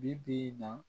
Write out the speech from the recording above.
Bi bi in na